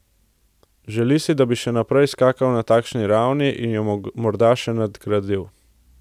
Želi si, da bi še naprej skakal na takšni ravni in jo morda še nadgradil.